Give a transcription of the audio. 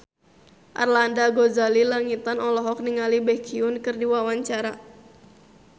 Arlanda Ghazali Langitan olohok ningali Baekhyun keur diwawancara